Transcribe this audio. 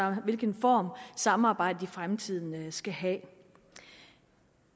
og hvilken form samarbejdet i fremtiden skal have